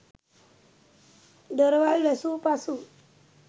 දොරවල් වැසූ පසු